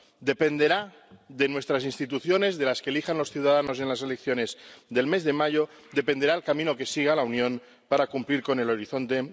De nuestras instituciones, de las que elijan los ciudadanos en las elecciones del mes de mayo, dependerá el camino que siga la Unión para cumplir con Horizonte